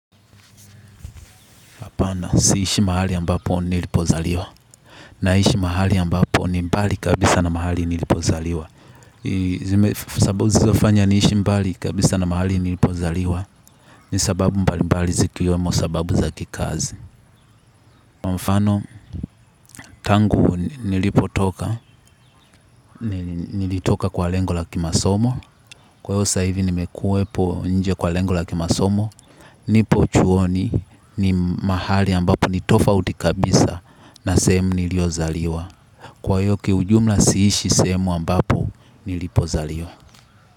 Pana siishi mahali ambapo nilipozaliwa. Naishi mahali ambapo ni mbali kabisa na mahali nilipozaliwa. Sababu zizofanya niishi mbali kabisa na mahali nilipozaliwa. Nisababu mbali mbali zikiwemo sababu zakikazi. Mfano tangu nilipotoka nilitoka kwa lengo la kimasomo. Kwa hivyo sahivi nimekuwepo nje kwa lengo la kimasomo. Nipo chuoni ni mahali ambapo nitofauti kabisa. Na sehemu niliyo zaliwa kwa hiyo kiujumla siishi sehemu ambapo nilipozaliwa.